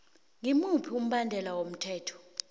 ngimuphi umbandela womthetho